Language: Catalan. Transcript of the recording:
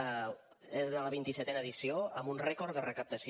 era la vint i setena edició amb un rècord de recaptació